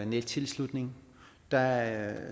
nettilslutning der